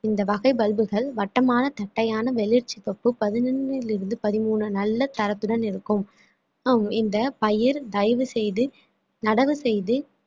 இந்த வகை pulp கள் வட்டமான தட்டையான வெளிர்ச்சி தொப்பு பதினொண்ணிலிருந்து பதிமூணு நல்ல தரத்துடன் இருக்கும் ஹம் இந்த பயிர் தயவு செய்து நடவு செய்து